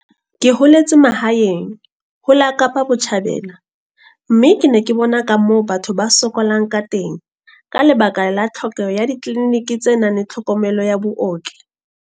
Ke holetse mahaeng ho la Kapa Botjhabela mme ke ne ke bona ka moo batho ba sokolang ka teng ka lebaka la tlhokeho ya ditleliniki tse nang le tlhokomelo ya booki.